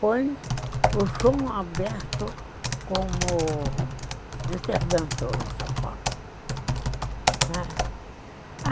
Põe o chão aberto como interventor em São Paulo.